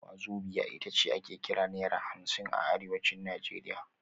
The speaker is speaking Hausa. Wazobia ita ce ake kira Naira hamsin a Arewacin Najeriya